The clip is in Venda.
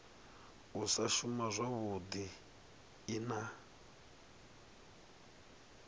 u sa shuma zwavhui na